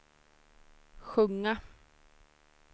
sjunga